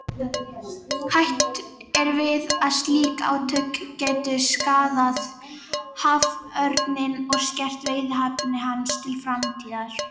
Hætt er við að slík átök gætu skaðað haförninn og skert veiðihæfni hans til framtíðar.